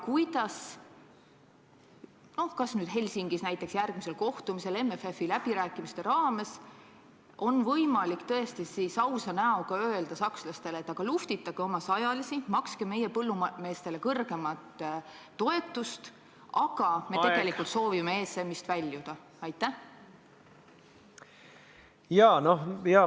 Kuidas on võimalik – näiteks Helsingis järgmisel kohtumisel MFF-i läbirääkimiste raames – tõesti ausa näoga öelda sakslastele, et aga luhvtitage oma sajalisi, makske meie põllumeestele kõrgemat toetust, aga me tegelikult soovime ESM-ist väljuda?